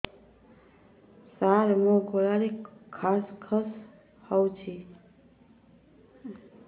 ସାର ମୋ ଗଳାରେ ଖସ ଖସ ହଉଚି